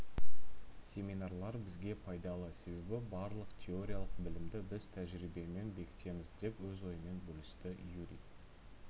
семинарлар бізге пайдалы себебі барлық теориялық білімді біз тәжірибемен бекітеміз деп өз ойымен бөлісті юрий